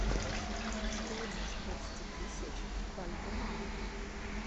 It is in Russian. стоимость двадцати тысяч бальбоа